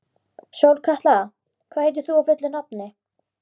Sólkatla, hvað heitir þú fullu nafni?